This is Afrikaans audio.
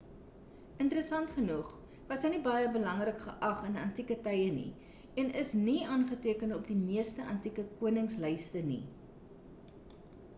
interesant genoeg was hy nie baie belangrik geag in antike tye nie en is nie aangeteken op meeste antieke konings lyste nie